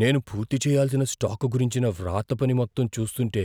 నేను పూర్తి చేయాల్సిన స్టాకు గురించిన వ్రాతపని మొత్తం చూస్తుంటే,